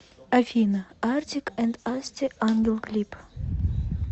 афина артик энд асти ангел клип